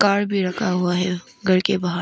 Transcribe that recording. Car भी रखा हुआ है घर पर बाहर।